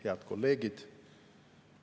Head kolleegid!